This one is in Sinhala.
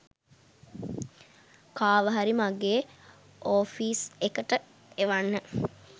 කාව හරි මගේ ඔෆීස් එකට එවන්න.